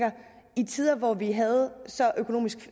de tider hvor vi havde så